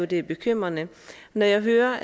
det er bekymrende når jeg hører